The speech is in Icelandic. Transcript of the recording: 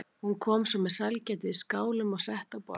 Hún kom svo með sælgætið í skálum og setti á borðið.